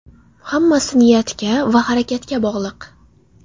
Hammasi niyatga va harakatga bog‘liq”.